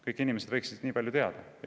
Kõik inimesed võiksid seda teada.